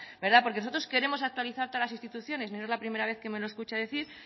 verdad porque nosotros queremos actualizar todas las instituciones y no es la primera vez me lo escucha decir